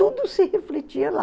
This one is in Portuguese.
Tudo se refletia lá.